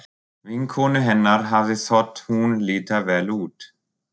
Vinkonu hennar hafði þótt hún líta vel út.